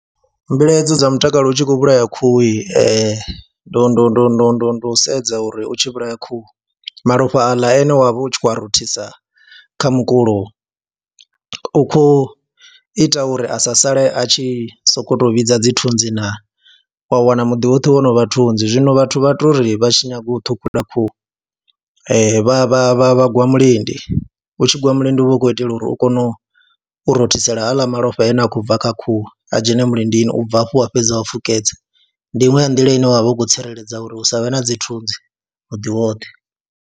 Mbilaelo dza mutakalo u tshi khou vhulaya khuhu ndu ndu ndu ndu ndo sedza uri u tshi vhulaya khuhu malofha aḽa ane wa vha u tshi khou rothisa kha mukulo u khou ita uri a sa sale a tshi sokou tou vhidza dzithunzi naa, wa wana muḓi woṱhe wo no vha thunzi zwino vhathu vha tou ri vha tshi nyaga u ṱhukhula khuhu vha vha vha vha gwa mulindi, u tshi gwa mulindi u vha u khou itela uri u kone u rothisela haaḽa malofha ane a khou bva kha khuhu a dzhene mulindini, u bva hafho wa fhedza wa fukedza. Ndi iṅwe ya ndila ine wa vha u khou tsireledza uri hu sa vhe na dzithunzi muḓi woṱhe.